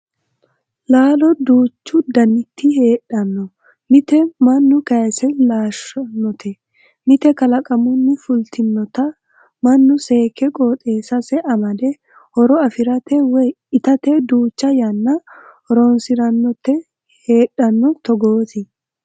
Laalo duuchu daniti heedhano mite mannu kayise laalshanote, mite kalaqamunni fultinotta mannu seekke qooxeesase amade horo afiranote woyi ittate duucha yanna horonsiranoti heedhano togoti.